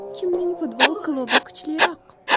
Kimning futbol klubi kuchliroq?.